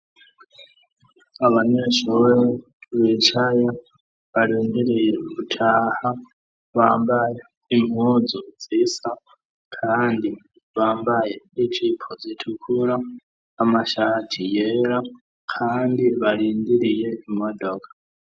Abanyeshuri bicaye barindiriye gutaha, bambaye impuzu zisa, kandi bambaye ijipo zitukura, amashati yera, kandi barindiriye imodoka.